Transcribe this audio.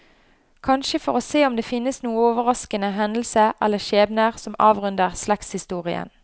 Kanskje for å se om det finnes noen overraskende hendelser eller skjebner som avrunder slektshistorien.